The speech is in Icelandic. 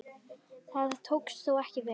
Það tókst þó ekki vel.